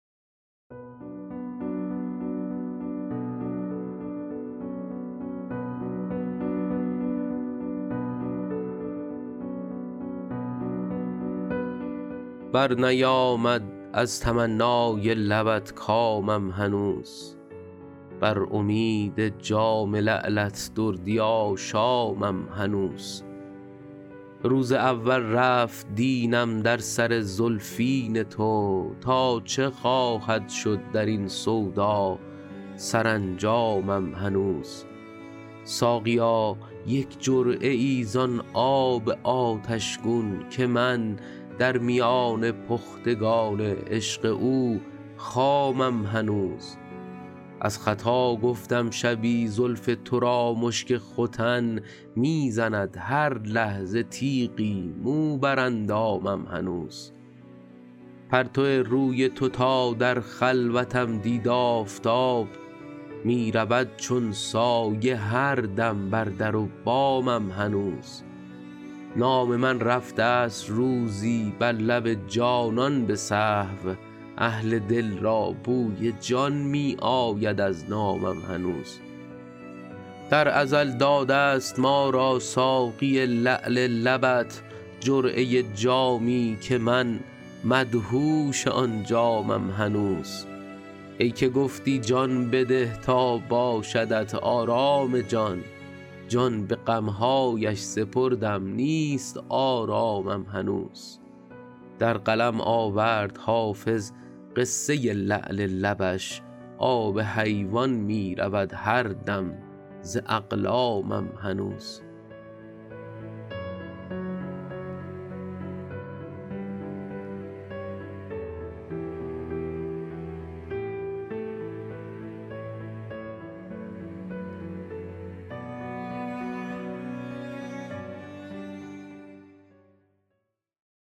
برنیامد از تمنای لبت کامم هنوز بر امید جام لعلت دردی آشامم هنوز روز اول رفت دینم در سر زلفین تو تا چه خواهد شد در این سودا سرانجامم هنوز ساقیا یک جرعه ای زان آب آتش گون که من در میان پختگان عشق او خامم هنوز از خطا گفتم شبی زلف تو را مشک ختن می زند هر لحظه تیغی مو بر اندامم هنوز پرتو روی تو تا در خلوتم دید آفتاب می رود چون سایه هر دم بر در و بامم هنوز نام من رفته ست روزی بر لب جانان به سهو اهل دل را بوی جان می آید از نامم هنوز در ازل داده ست ما را ساقی لعل لبت جرعه جامی که من مدهوش آن جامم هنوز ای که گفتی جان بده تا باشدت آرام جان جان به غم هایش سپردم نیست آرامم هنوز در قلم آورد حافظ قصه لعل لبش آب حیوان می رود هر دم ز اقلامم هنوز